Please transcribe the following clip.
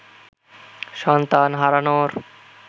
সন্তান হারানোর